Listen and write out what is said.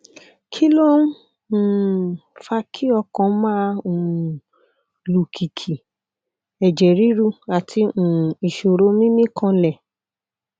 kí ló ń um fa kí ọkàn máa um lù kìkì ẹjẹ ríru àti um ìṣòro mímí kanlẹ